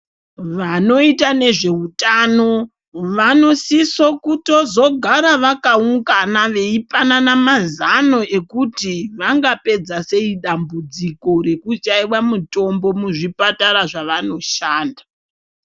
Vanoita nezve utano vano siso kutozo gara vaka ungana veito panana mazono ekuti vanga pedza sei dambudziko reku shaiwa mitombo muzvi patara zvavano shanda.